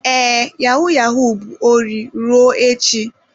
Ee, yahu-yahu bụ ori ruo echi.